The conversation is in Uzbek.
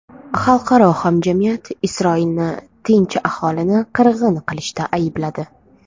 Xalqaro hamjamiyat Isroilni tinch aholini qirg‘in qilishda aybladi.